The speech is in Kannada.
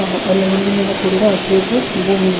ಅಲ್ಲಿ ಹುಲ್ಲಿನಿಂದ ಕೂಡಿದ ಹಸಿರು ಭೂಮಿಯಿದೆ.